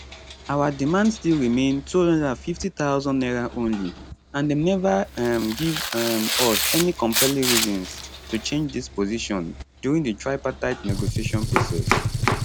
our demand still remain 250000 naira only and dem neva um give um us any compelling reasons to change dis position during di tripartite negotiation process